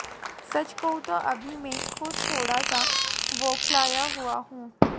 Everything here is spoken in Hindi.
सच कहूं तो अभी मैं खुद थोडा सा बौखलाया हुआ हूं